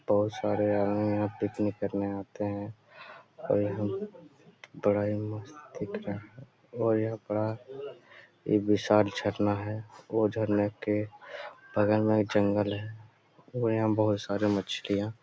बहुत सारे यहां पिकनिक करने के लिए आते हैं और यह बड़ा मस्त दिख रहा है और यह बड़ा ही विशाल झरना है झरने के बगल यहां पर जंगल है और यहां बहुत सारे मछलियां--